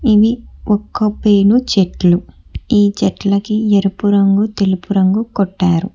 ఇవి ఒక్క పేను చెట్లు ఈ చెట్లకి ఎరుపు రంగు తెలుపు రంగు కొట్టారు.